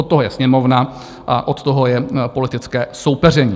Od toho je Sněmovna a od toho je politické soupeření.